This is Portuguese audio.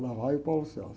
Lá vai o.